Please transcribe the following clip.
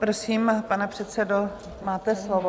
Prosím, pane předsedo, máte slovo.